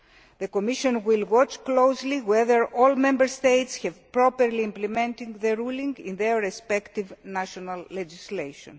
The Commission will watch closely to see whether all Member States have properly implemented the ruling in their respective national legislation.